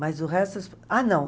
Mas o resto... Ah, não!